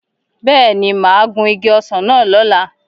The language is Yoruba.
Bẹ́ẹ̀ni, mà á gun igi ọsàn náà lọ̀la